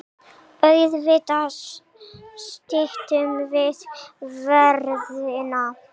Auðvitað styttum við ferðina.